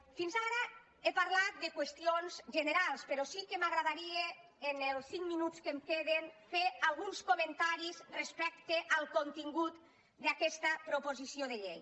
fins ara he parlat de qüestions generals però sí que m’agradaria en els cinc minuts que em queden fer alguns comentaris respecte al contingut d’aquesta proposició de llei